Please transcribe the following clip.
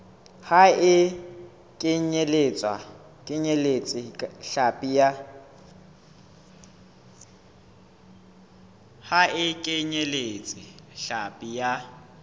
ha e kenyeletse hlapi ya